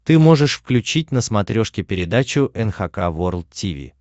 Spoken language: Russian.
ты можешь включить на смотрешке передачу эн эйч кей волд ти ви